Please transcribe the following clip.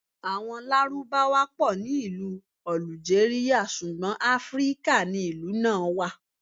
Àwọn Lárúbáwá pọ̀ ní ìlú Ọ̀lùjérìà, ṣùgbọ́n Afíríkà ni ìlú náà wà.